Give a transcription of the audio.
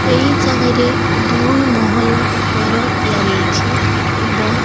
ଏଇ ଜାଗା ରେ ଦୁଇ ମହଲ ଘର ତିଆରି ହେଇଛି ଏବଂ।